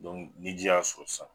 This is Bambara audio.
ni ji y'a sɔrɔ sisan